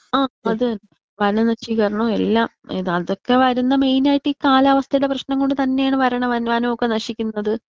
ആ അത് തന്നെ വനനശീകരണോം എല്ലാം ഇത് അതൊക്കെ വരുന്ന മെയിൻ ആയിട്ട് ഈ കാലാവസ്ഥടെ പ്രശ്നം കൊണ്ട് തന്നെയാണ് വരണ വാനോം ഒക്കെ നശിക്കുന്നത്.